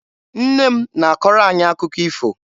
Nne m na-akọrọ anyị akụkọ ifo.